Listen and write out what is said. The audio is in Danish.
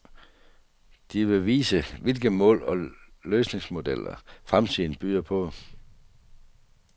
De vil vise, hvilke mål og løsningsmodeller, fremtiden byder på.